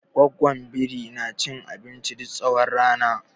Goggon biri na cin abinci duk tsawon rana.